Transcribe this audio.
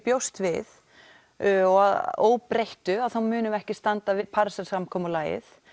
bjóst við og að óbreyttu þá munum við ekki standa við Parísarsamkomulagið